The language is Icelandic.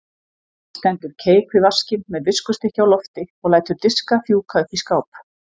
Stendur keik við vaskinn með viskustykki á lofti og lætur diska fjúka upp í skáp.